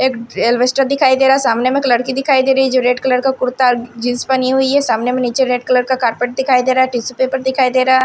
एक एल्वेस्टर दिखाई दे रहा सामने में एक लड़की दिखाई दे रही है जो रेड कलर कुर्ता और जींस पहनी हुई है सामने में रेड कलर का कारपेट दिखाई दे रहा टिशू पेपर दिखाई दे रहा।